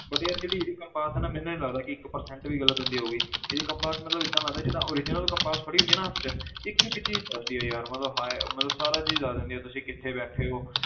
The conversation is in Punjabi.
But ਯਾਰ ਜਿਹੜੀ ਇਹਦੀ compass ਹੈ ਨਾ ਮੈਨੂੰ ਨੀ ਲੱਗਦਾ ਕਿ ਇੱਕ percent ਵੀ ਗ਼ਲਤ ਹੁੰਦੀ ਹੋਊਗੀ ਇਹਦੀ compass ਮਤਲਬ ਏਦਾਂ ਲੱਗਦਾ ਜਿੱਦਾਂ original compass ਫੜੀ ਹੁੰਦੀ ਆ ਨਾ ਹੱਥ 'ਚ ਇੱਕ ਇੱਕ ਚੀਜ਼ ਦੱਸਦੀ ਹੈ ਯਾਰ ਮਤਲਬ ਹੈ ਮਤਲਬ ਸਾਰਾ ਚੀਜ਼ ਦੱਸ ਦਿੰਦੀ ਹੈ ਤੁਸੀਂ ਕਿੱਥੇ ਬੈਠੇ ਹੋ